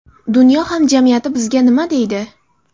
Dunyo hamjamiyati bizga nima deydi?